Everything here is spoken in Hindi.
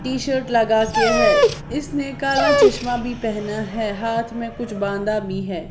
टी-शर्ट लगा के है इसने काला चश्मा भी पहना है हाथ में कुछ बांधा भी है।